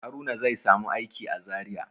Haruna zai samu aiki a Zariya.